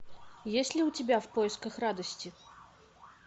есть ли у тебя в поисках радости